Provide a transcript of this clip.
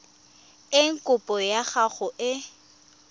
eng kopo ya gago e